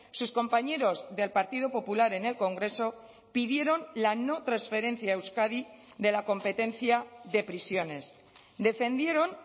sus compañeros del partido popular en el congreso pidieron la no transferencia a euskadi de la competencia de prisiones defendieron